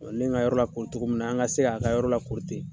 ne ye n ka yɔrɔ lakori togo min na, an ka se k'a ka yɔrɔ lakori ten.